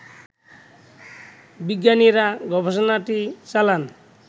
বিজ্ঞানীরা গবেষণাটি চালান